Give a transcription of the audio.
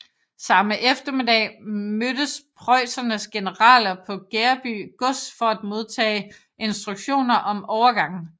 Samme eftermiddag mødtes preussernes generaler på Gereby gods for at modtage instruktioner om overgangen